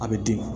A bɛ den